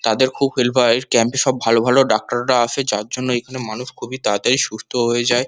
তাদের খুব হেল্প হয় ক্যাম্পে সব ভালো ভালো ডাক্তাররা আসে যার জন্য এখানে মানুষ তাড়াতাড়ি সুস্থ হয়ে যায়।